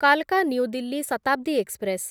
କାଲକା new Delhi Shatabdi express